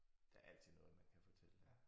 Der altid noget man kan fortælle dem